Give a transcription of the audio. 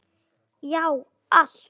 Já, allt!